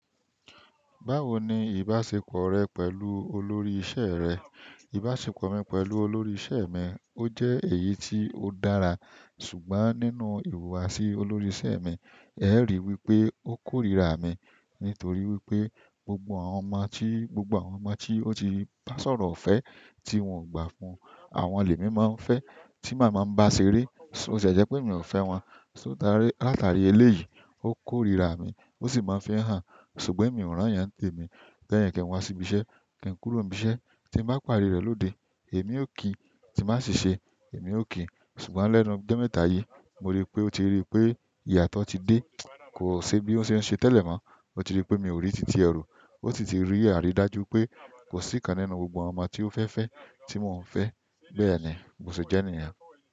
Báwo ni ìbáṣepọ̀ rẹ pẹ̀lú olórí ìṣe rẹ? Ìbáṣepọ̀ mi pẹ̀lú olórí ìṣe mi, ó jẹ́ èyí tí ó dára ṣùgbọ́n nínú ìhùwàsí olórí ìse mi, ẹ ríi wí pé ó kórìíra mi nítorí wípé gbogbo àwọn ọmọ tí, gbogbo àwọn ọmọ tí ó ti bá sọ̀rọ̀ ifẹ́ tí wọn ò gbà fún, àwọn lé mi máa ń fẹ́ tí màá máa ń bá ṣeré, sóò sẹ jẹ́ pé emi ò fẹ́ wọn? Sóò táarẹ́ látàrí eléyìí ó kórìíra mi, ó sì máa ń fi hàn ṣùgbọ́n èmi ò rán ìyàn nté mi. Lẹ́yìn kìn wá síbi iṣẹ́, kí n kúrò ibi iṣẹ́ tí màá pàdé rẹ̀ lóde, èmi ò kí, tí bá sì se, èmi ò kí. Ṣùgbọ́n lẹ́nu ọjọ mẹ́ta yìí mo rí pé ó ti rí pé ìyàtọ̀ ti dé, kò ṣe bí ó ṣe ń ṣe tẹ́lẹ̀ mọ́. Ó ti rí pé mi ò rí tití ẹ ro, ó sì ti rí àrídájú pé kò sí kan nínú gbogbo àwọn ọmọ tí ó fẹ́ fẹ́ tí mò ń fẹ́. Bẹ́ẹ̀ni bo se jẹ niyẹn.